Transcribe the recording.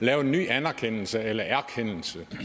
have en ny anerkendelse eller hvad er